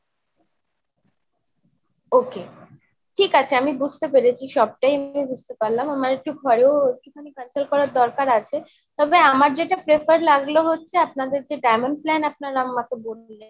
ok, ঠিক আছে আমি বুজতে পেরেছি সবটাই আমি বুজতে পারলাম, আমার একটু ঘরেও একটু খানি consult করার দরকার আছে। তবে আমার যেটা prefer লাগলো হচ্ছে আপনাদের যে diamond plan আপনারা আমাকে বললেন।